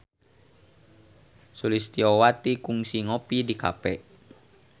Sulistyowati kungsi ngopi di cafe